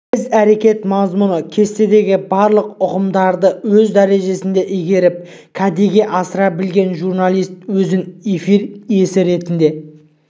іс-әрекет мазмұны кестесіндегі барлық ұғымдарды өз дәрежесінде игеріп кәдеге асыра білген журналист өзін эфир иесі ретінде